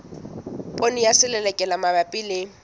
poone ya selelekela mabapi le